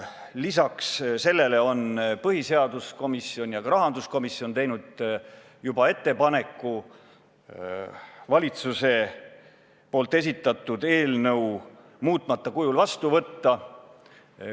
Lisaks sellele on põhiseaduskomisjon ja rahanduskomisjon juba teinud ettepaneku valitsuse esitatud eelnõu muutmata kujul vastu võtta.